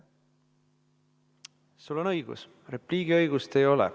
Sul on õigus, repliigiõigust ei ole.